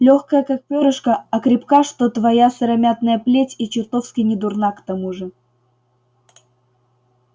лёгкая как пёрышко а крепка что твоя сыромятная плеть и чертовски недурна к тому же